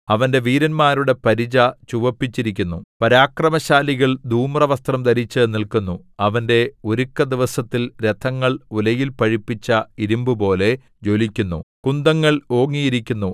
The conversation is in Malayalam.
അവന്റെ വീരന്മാരുടെ പരിച ചുവപ്പിച്ചിരിക്കുന്നു പരാക്രമശാലികൾ ധൂമ്രവസ്ത്രം ധരിച്ചു നില്ക്കുന്നു അവന്റെ ഒരുക്കദിവസത്തിൽ രഥങ്ങൾ ഉലയിൽ പഴുപ്പിച്ച ഇരുമ്പുപോലെ ജ്വലിക്കുന്നു കുന്തങ്ങൾ ഓങ്ങിയിരിക്കുന്നു